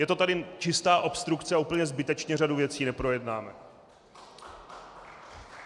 Je to tady čistá obstrukce a úplně zbytečně řadu věcí neprojednáme.